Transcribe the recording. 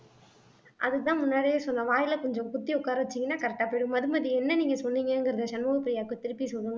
அதுக்கு தான் முன்னாடியே சொன்னேன் வாயில கொஞ்சம் குத்தி உட்கார வச்சீங்கன்னா correct ஆ போய்டும் மதுமதி என்ன நீங்க சொன்னீங்கங்கறத சண்முக பிரியாக்கு திருப்பி சொல்லுங்க